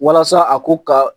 Walasa a ko ka